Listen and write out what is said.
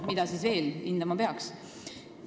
Mida siis veel hindama peaks?